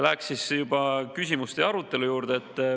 Läheksin küsimuste ja arutelu juurde.